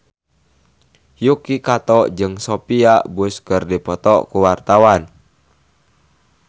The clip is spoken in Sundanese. Yuki Kato jeung Sophia Bush keur dipoto ku wartawan